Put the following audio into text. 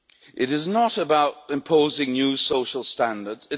It is not about imposing new social standards.